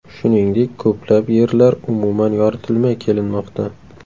Shuningdek, ko‘plab yerlar umuman yoritilmay kelinmoqda.